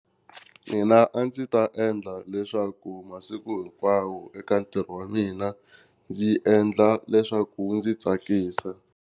Mina a ndzi ta endla leswaku masiku hinkwawo eka ntirho wa mina ndzi endla leswaku ndzi tsakisa.